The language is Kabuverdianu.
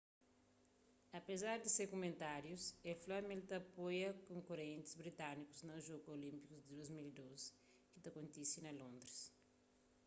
apezar di se kumentárius el fla ma el ta apoia konkurentis britanikus na jogus olínpiku di 2012 ki ta kontise na londris